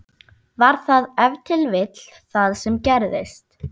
Var það ef til vill það sem gerðist?